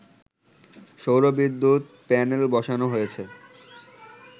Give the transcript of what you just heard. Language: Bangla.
সৌর বিদ্যুৎ প্যানেলবসানো হয়েছে